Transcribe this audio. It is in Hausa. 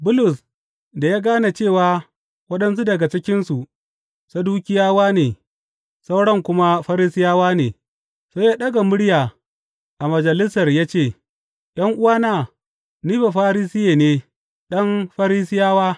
Bulus, da ya gane cewa waɗansu daga cikinsu Sadukiyawa ne sauran kuma Farisiyawa ne, sai ya ɗaga murya a Majalisar ya ce, ’Yan’uwana, ni Bafarisiye ne, ɗan Farisiyawa.